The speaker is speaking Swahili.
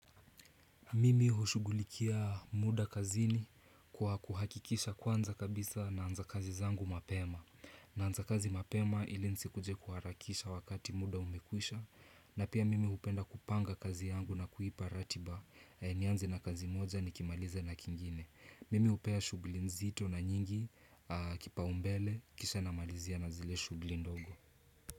Mimi hushughulikia muda kazini kwa kuhakikisha kwanza kabisa naanza kazi zangu mapema Naanza kazi mapema ili nsikuje kuharakisha wakati muda umekwisha na pia mimi upenda kupanga kazi yangu na kuipa ratiba nianze na kazi moja nikimaliza na kingine. Mimi upea shughuli nzito na nyingi kipaumbele kisha namalizia na zile shughuli ndogo.